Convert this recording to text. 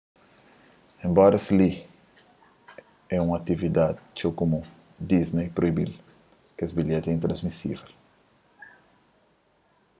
enbora es li é un atividadi txeu kumun disney proibi-l kes bilheti é intransmisível